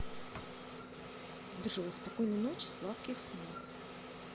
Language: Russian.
джой спокойной ночи сладких снов